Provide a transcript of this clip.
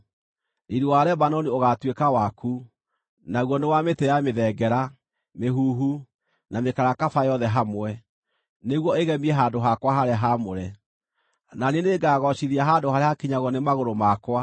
“Riiri wa Lebanoni ũgaatuĩka waku, naguo nĩ wa mĩtĩ ya mĩthengera, mĩhuhu, na mĩkarakaba yothe hamwe, nĩguo ĩgemie handũ hakwa harĩa haamũre; na niĩ nĩngagoocithia handũ harĩa hakinyagwo nĩ magũrũ makwa.